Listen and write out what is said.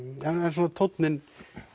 svona tónninn